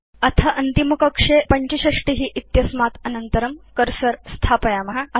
अथ अन्तिमकक्षे 65 इत्यस्मात् अनन्तरं कर्सर स्थापयाम